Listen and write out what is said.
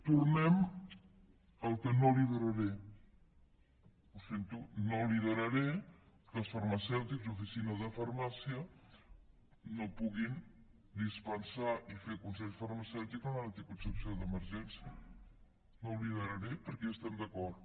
tornem al que no lideraré ho sento no lideraré que els farmacèutics i oficines de farmàcia no puguin dispensar i fer consells farmacèutics en l’anticoncepció d’emergència no ho lideraré perquè hi estem d’acord